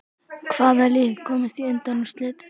Hvaða lið komast í undanúrslit?